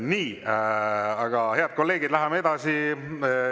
Nii, head kolleegid, läheme edasi.